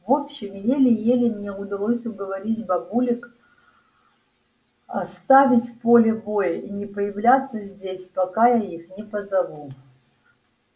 в общем еле-еле мне удалось уговорить бабулек оставить поле боя и не появляться здесь пока я их не позову